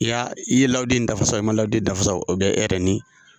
I y'a i ye layidu in dafa sa i man layidu dafasa o bɛ e yɛrɛ ni